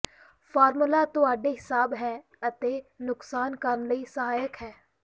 formula ਤੁਹਾਡੇ ਹਿਸਾਬ ਹੈ ਅਤੇ ਨੁਕਸਾਨ ਕਰਨ ਲਈ ਸਹਾਇਕ ਹੈ